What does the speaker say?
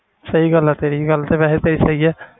ਸਹੀ ਗੱਲ ਹੈ ਤੇਰੀ ਗੱਲ ਤੇ ਵੈਸੇ ਤੇਰੀ ਸਹੀ ਹੈ।